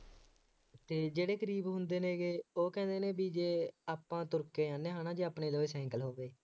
ਅਤੇ ਜਿਹੜੇ ਗਰੀਬ ਹੁੰਦੇ ਨੇ ਗੇ ਉੇਹ ਕਹਿੰਦੇ ਨੇ ਬਈ ਜੇ ਆਪਾਂ ਤੁਰ ਕੇ ਜਾਂਦੇ ਹਾਂ ਹੈ ਨਾ ਜੇ ਆਪਣੇ ਲਵੇ ਸਾਈਕਲ ਹੋਵੇ,